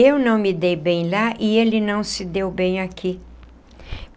Eu não me dei bem lá e ele não se deu bem aqui.